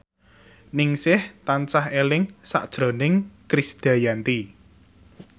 Ningsih tansah eling sakjroning Krisdayanti